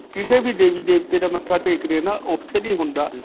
ਕਿਸੇ ਵੀ ਦੇਵੀ-ਦੇਵਤੇ ਦਾ ਮੱਥਾ ਟੇਕਦੇ ਹੈ ਨਾ ਓੱਥੇ ਵੀ ਹੁੰਦਾ.